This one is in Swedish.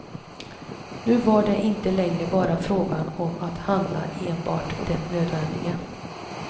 Nu var det inte längre bara fråga om att handla enbart det nödvändiga.